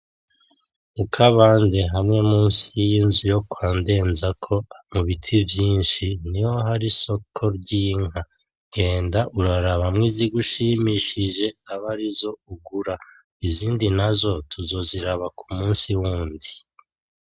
Mukabandi hamwe munsi yinzu kwandenzako mubiti vyinshi niho hari isoko ry’inka ngenda urarabamwo izigushimishije abarizo ugura izindi nazo tuzoziraba kumunsi wundi .